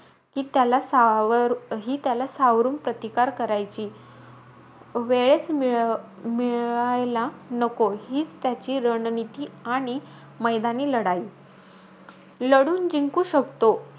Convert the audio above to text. कि त्याला सावर हि सावरून प्रतिकार करायची, वेळचं मि मिळायला नको, हीच त्याची रणनीती आणि मैदानी लढाई. लढून जिंकू शकतो,